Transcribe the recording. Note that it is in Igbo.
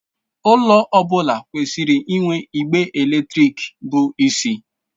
Ụlọ ọ bụla kwesịrị inwe igbe eletrik bụ isi.